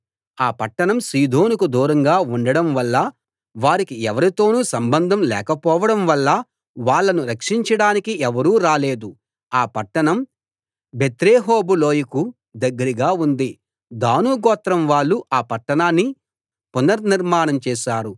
ఆ పట్టణం సీదోనుకు దూరంగా ఉండటం వల్లా వాళ్లకు ఎవరితోనూ సంబంధం లేకపోవడం వల్లా వాళ్ళను రక్షించడానికి ఎవరూ రాలేదు ఆ పట్టణం బెత్రేహోబు లోయకు దగ్గరగా ఉంది దాను గోత్రం వాళ్ళు ఆ పట్టణాన్ని పునర్నిర్మాణం చేశారు